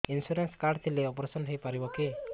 insurance card ଥିଲେ operation ହେଇପାରିବ କି